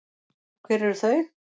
Og hver eru þau?